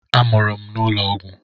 A mụrụ m n'ụlọ ọgwụ.